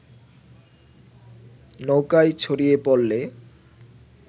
নৌকায় ছড়িয়ে পড়লে